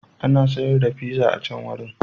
Ana sayar da pizza a can wurin.